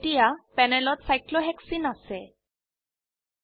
এতিয়া প্যানেলত চাইক্লোহেসেনে সাইক্লোহেক্সিন আছে